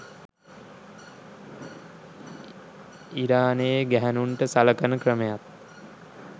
ඉරානයේ ගැහැනුන්ට සලකන ක්‍රමයත්